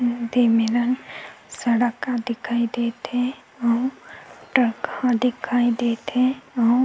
दे मेरन सड़क ह दिखाई देत हे अऊ ट्रक ह दिखाई देत हे अऊ--